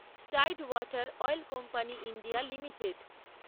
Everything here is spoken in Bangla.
Tide Water Oil Company India limited